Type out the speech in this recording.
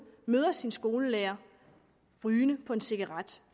møder sin skolelærer rygende på en cigaret